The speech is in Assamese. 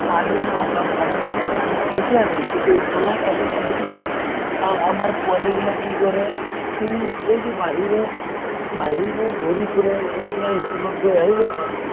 এই পানীৰ problem , পানী মানে পানী ঠিকে আছে কিন্তু উতলাই খাব লাগে সেইটো ন । আ আমাৰ পোৱালি বিলাকে কি কৰে কি এই যে বাহিৰে বাহিৰে ঘূৰি ফুৰে । এতিয়া school ত গৈ আহিলে পোৱালি টো ।